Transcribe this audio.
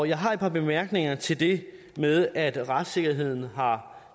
jeg har et par bemærkninger til det med at retssikkerheden har